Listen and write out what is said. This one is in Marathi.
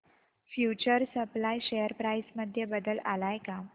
फ्यूचर सप्लाय शेअर प्राइस मध्ये बदल आलाय का